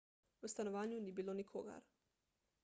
v stanovanju ni bilo nikogar